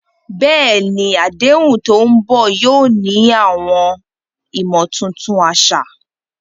Bẹ́ẹ̀ni, àdéhùn tó ń bọ̀ yóò ní àwọn ìmọ̀ tuntun àṣà.